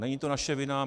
Není to naše vina.